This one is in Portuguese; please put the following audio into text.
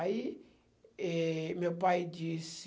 Aí, eh, meu pai disse...